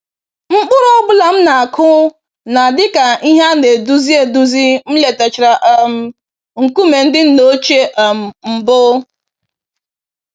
Mkpụrụ ọ bụla m na-akụ na-adị ka ìhè ana-eduzi eduzi m letachara um nkume ndị nna ochie um mbụ.